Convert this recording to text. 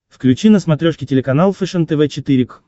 включи на смотрешке телеканал фэшен тв четыре к